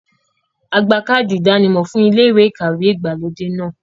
A gba káàdì ìdánimọ̀ fún ilé ìkàwé ìgbàlódé náà.